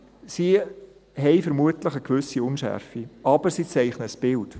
Sie haben vermutlich eine gewisse Unschärfe, aber sie zeichnen ein Bild.